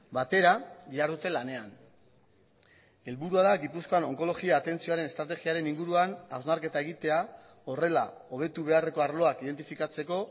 batera dihardute lanean helburua da gipuzkoan onkologia atentzioaren estrategiaren inguruan hausnarketa egitea horrela hobetu beharreko arloak identifikatzeko